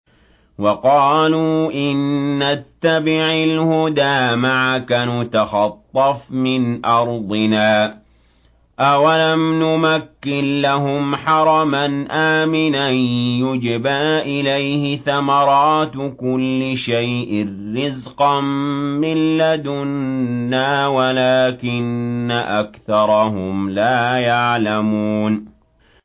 وَقَالُوا إِن نَّتَّبِعِ الْهُدَىٰ مَعَكَ نُتَخَطَّفْ مِنْ أَرْضِنَا ۚ أَوَلَمْ نُمَكِّن لَّهُمْ حَرَمًا آمِنًا يُجْبَىٰ إِلَيْهِ ثَمَرَاتُ كُلِّ شَيْءٍ رِّزْقًا مِّن لَّدُنَّا وَلَٰكِنَّ أَكْثَرَهُمْ لَا يَعْلَمُونَ